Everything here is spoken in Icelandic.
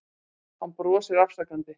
Hann brosir afsakandi.